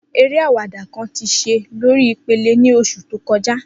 Ere awada kan ti ṣe lori ipele ni oṣu to kọja.